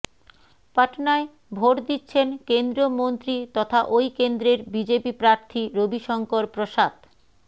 পটনায় ভোট দিচ্ছেন কেন্দ্রীয় মন্ত্রী তথা ওই কেন্দ্রের বিজেপি প্রার্থী রবিশঙ্কর প্রসাদ